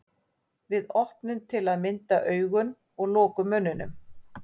Við opnum til að mynda augun og lokum munninum.